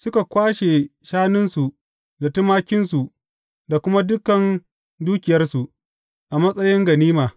Suka kwashe shanunsu da tumakinsu da kuma dukan dukiyarsu, a matsayin ganima.